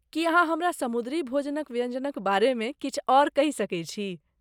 की अहाँ हमरा समुद्री भोजनक व्यञ्जनक बारेमे किछु आओर कहि सकैत छी?